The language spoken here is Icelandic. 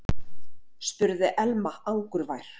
spurði Elma angurvær.